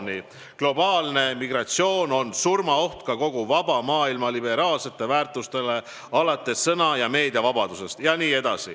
.. globaalne migratsioon on surmaoht ka kogu vaba maailma liberaalsetele väärtustele alates sõna- ja meediavabadustest.